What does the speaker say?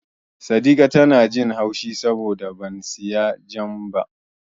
Saddika tana jin haushi saboda ban siyo Jam ba.